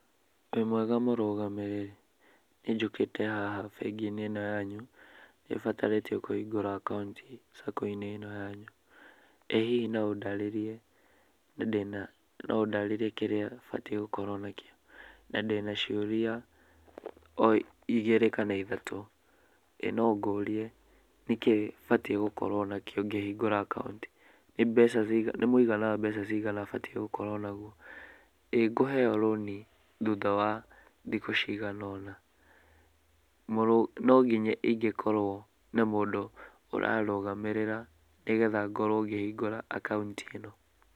Wĩmwega mũrũgamĩrĩri? Niĩ njũkĩte haha bengi-inĩ ĩno yanyu, nĩ batarĩtio kũhingũra akaunti sacco-inĩ ĩno yanyu. Ĩ hihi no ũndarĩrĩrie, ndĩna, no ũndarĩrĩrie kĩrĩa batiĩ gũkorwo nakĩo? Na ndĩna ciũria igĩrĩ kana ithatũ. Ĩ no ũngĩrĩe nĩkĩĩ batiĩ gũkorwo nakĩo ngĩhingũra akaunti? Nĩ mbeca ciagana, nĩ mũigana wa mbeca cigana batiĩ gũkorwo naguo? Ĩ ngũheo rũni thutha wa thikũ cigana ũna? No nginya ngorwo na mũndũ ũranũgamĩrĩra nĩgetha ngorwo ngĩhingũra akaunti?